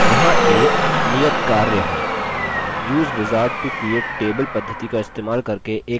use wizard to create table पद्धिति का इस्तेमाल करके एक table बनाइए